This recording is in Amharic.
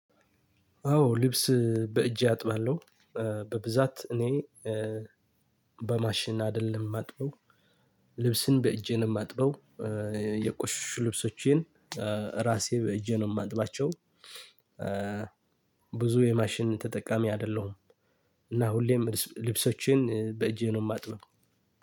አዎ ልብስ በእጄ አጥባለሁ በብዛት እኔ በማሽን አይደለም ማጥበው ልብስን በእጄ ነው ማጥበው የቆሸሹ ልብሶቼን ራሴ በእጄ ነው የማጥባቸው። ብዙ የማሽን ተጠቃሚ አይደለሁም። እና ሁሌም ልብሶችን በእጄ ነው የማጥበው።